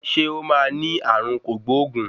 Ṣé ó máa ní ààrùn kògbóògùn?